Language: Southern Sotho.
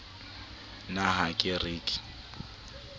na ha ke re ke